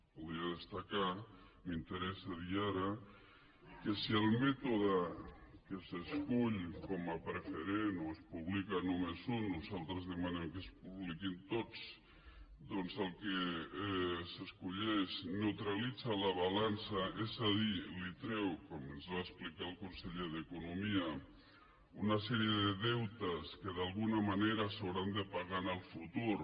voldria destacar m’interessa dir ho ara que si el mètode que s’escull com a preferent o es publica només un nosaltres demanem que es publiquin tots doncs el que s’escull neutralitza la balança és a dir li treu com ens va explicar el conseller d’economia una sèrie de deutes que d’alguna manera s’hauran de pagar en el futur